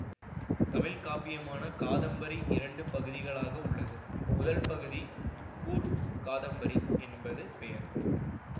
தமிழ் காப்பியமான காதம்பரி இரண்டு பகுதிகளாக உள்ளது முதல் பகுதிக்குப் பூர்வ காதம்பரி என்பது பெயர்